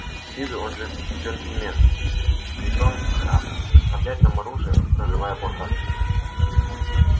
с виду он джентльмен и притом храбр доставлять нам оружие прорывая блокаду